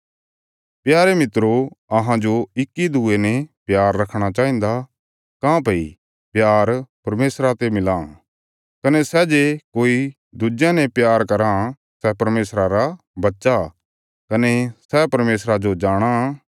प्यारे मित्रो अहांजो इक्की दूये ने प्यार रखणा चाहिन्दा काँह्भई प्यार परमेशरा ते मिलां कने सै जे कोई दुज्यां ने प्यार कराँ सै परमेशरा रा बच्चा कने सै परमेशरा जो जाणाँ